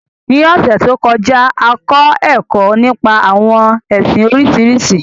Ní ọ̀sẹ̀ to kọjá, a kọ ẹkọ nípa àwọn ẹsìn Oríṣiríṣi.